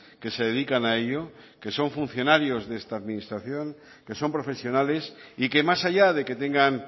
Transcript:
que se dedican a ello que son funcionarios de esta administración que son profesionales y que más allá de que tengan